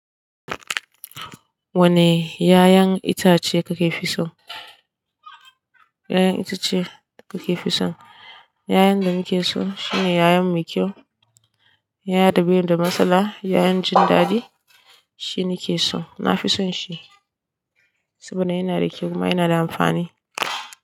Wane yayon itace kake fi son? Yayan itace kake fi son? Yayan da muke so shine yayan mai kyau, yaya da bai da matsala. Yayan jin daɗi shini ke so. Na fi son shi saboda yana da kyau kuma yana da amfani.